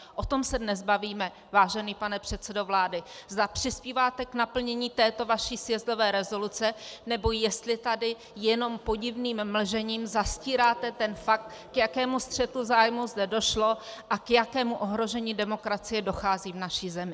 O tom se dnes bavíme, vážený pane předsedo vlády, zda přispíváte k naplnění této vaší sjezdové rezoluce, nebo jestli tady jenom podivným mlžením zastíráte ten fakt, k jakému střetu zájmů zde došlo a k jakému ohrožení demokracie dochází v naší zemi.